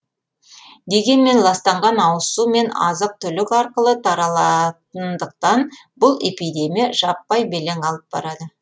дегенмен ластанған ауызсу мен азық түлік арқылы таралатындықтан бұл эпидемия жаппай белең алып барады